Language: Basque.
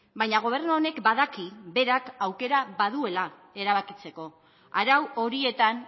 baina gobernu honek badaki berak aukera baduela erabakitzeko arau horietan